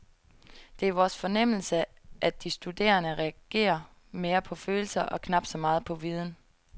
Det er vores fornemmelse, at de studerende reagerer mere på følelser og knap så meget på viden.